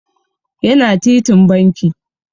Yana titin banki.